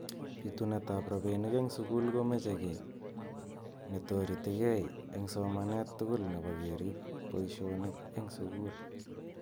Bitunet ab robinik eng sukul komeche ki netoretikei eng somanet tugul nebo kerib boishonik eng sukul.